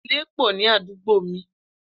Ilé pọ̀ ní àdúgbò mi